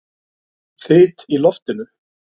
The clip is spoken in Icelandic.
Þyt í loftinu?